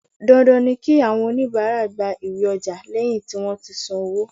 Dandan ni kí àwọn onibaara gba iwé ọjà lẹ́yìn tí wón ti san owó.